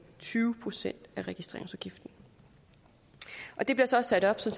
tyve procent af registreringsafgiften det bliver så sat op så